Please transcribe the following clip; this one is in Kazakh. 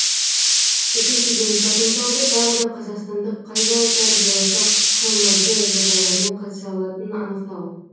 үшіншіден потенциалды тағы да қазақстандық қай зауыттар болашақ қмг жобаларына қатыса алатынын анықтау